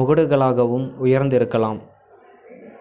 முகடுகளாகவும் உயர்ந்திருக்கலாம்